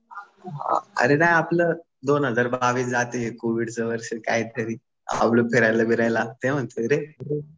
अरे नाही आपलं दोन हजार बावीस जातंय हे कोविडचं वर्ष काहीतरी आपलं फिरायला बिरायला. ते म्हणतोय रे.